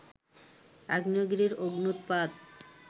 আগ্নেয়গিরির অগ্ন্যুতপাত